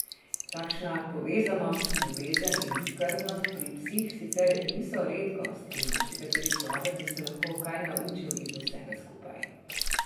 Takšna povezanost, ljubezen in skrbnost pri psih sicer niso redkost in marsikateri človek bi se lahko kaj naučil iz vsega skupaj.